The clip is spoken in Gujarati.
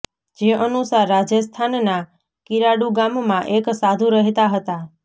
જે અનુસાર રાજસ્થાનના કિરાડૂ ગામમાં એક સાધુ રહેતા હતા